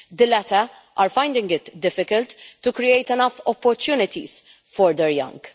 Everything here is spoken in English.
the latter are finding it difficult to create enough opportunities for their young.